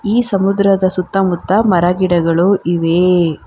ಈ ಸಮುದ್ರದ ಸುತ್ತಮುತ್ತ ಮರ ಗಿಡಗಳು ಇವೆ.